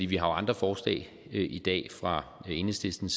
vi har andre forslag i dag fra enhedslisten